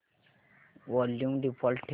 volume default ठेव